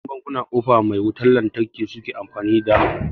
yawancin bankuna kofa mai wutan lantarki suke amfani da